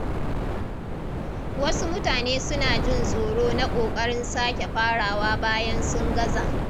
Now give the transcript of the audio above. Wasu mutane suna jin tsoro na kokarin sake farawa bayan sun gaza.